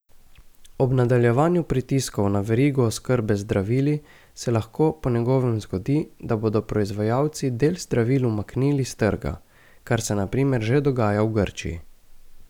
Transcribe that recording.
Ob nadaljevanju pritiskov na verigo oskrbe z zdravili se lahko po njegovem zgodi, da bodo proizvajalci del zdravil umaknili s trga, kar se na primer že dogaja v Grčiji.